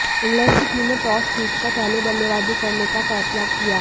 England की team ने toss जीतकर पहले बल्लेबाजी करने का फैसला किया